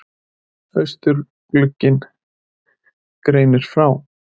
Austurglugginn greinir frá